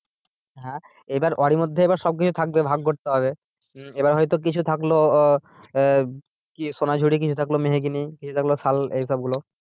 হ্যাঁ এবার ওরই মধ্যে সবকিছু থাকবে ভাগ করতে হবে। হম এবার হয় তো কিছু থাকলো আহ কিছু থাকলো আহ কি সোনাঝুরি, কিছু থাকলো মেহগিনি কিছু থাকলো শাল এইসব গুলো।